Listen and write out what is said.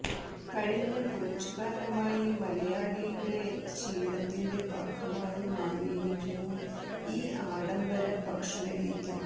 കഴിഞ്ഞ കുറച്ചുകാലമായി മലയാളിയുടെ ശീലത്തിന്റെ ഭാഗമായി മാറിയിരിക്കുന്നു ഈ ആഡംബര ഭക്ഷണ രീതി